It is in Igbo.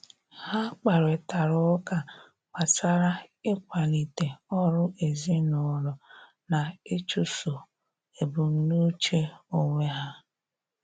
Ha kparịtari ụka gbasara ịkwalite ọrụ ezinụlọ na ịchụso ebumnuche onwe ya.